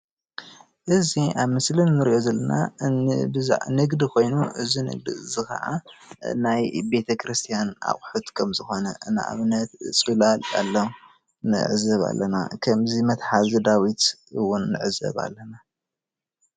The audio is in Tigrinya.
ኣዚ ኣብ ምስሊ እንሪኦ ዘለና ንግዲ ኮይኑ እዚ ንግዲ እዚ ካዓ ናይ ቤተክርስትያን ኣቑሕት ከም ዝኾነ ንኣብነት ፅላል ኣሎ ንዕዘብ ኣለና ከም መትሓዚ ዳዊት እውን ንዕዘብ ኣለና፡፡